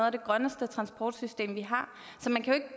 af de grønneste transportsystemer vi har så man kan